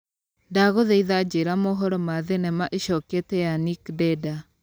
ndagũthaitha njĩra mohoro ma thinema ĩcokete ya nick denda